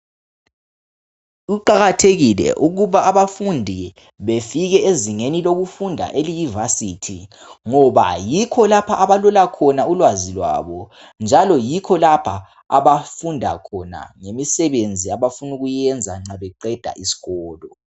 Kuqakathekile ukuthi abafundi befike ezingeni lokufunda eliyivarsity ngoba yikho lapha abalola khona ulwazi lwabo njalo yikho lapha abafunda khona ngemisebenzi abafuna ukuyiyenza mhla beqeda isikolo